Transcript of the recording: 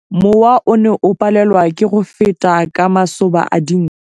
Mowa o ne o palelwa ke go feta ka masoba a dinko.